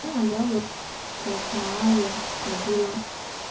ну а я вот как на аве ходила